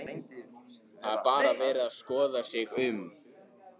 Það er bara verið að skoða sig um?